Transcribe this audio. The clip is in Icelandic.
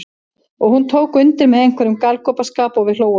Og hún tók undir með einhverjum galgopaskap og við hlógum öll.